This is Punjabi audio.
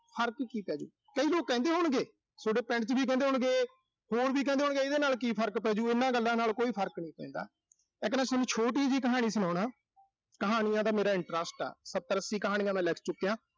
ਫਰਕ ਕੀ ਪੈਜੂ। ਕਈ ਲੋਕ ਕਹਿੰਦੇ ਹੋਣਗੇ, ਸੋਡੇ ਪਿੰਡ ਚ ਵੀ ਕਹਿੰਦੇ ਹੋਣਗੇ, ਇਹਦੇ ਨਾਲ ਕੀ ਫਰਕ ਪੈਜੂ, ਇਨ੍ਹਾਂ ਗੱਲਾਂ ਨਾਲ ਕੋਈ ਫਰਕ ਨੀਂ ਪੈਂਦਾ। ਇੱਕ ਨਾ ਸੋਨੂੰ ਛੋਟੀ ਜੀ ਕਹਾਣੀ ਸੁਣਾਉਣਾ। ਕਹਾਣੀਆਂ ਦਾ ਮੇਰਾ interest ਆ, ਸੱਤਰ-ਅੱਸੀ ਕਹਾਣੀਆਂ ਮੈਂ ਲਿਖ ਚੁੱਕਿਆ।